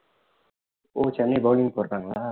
ஓ Chennai bowling போட்டாங்களா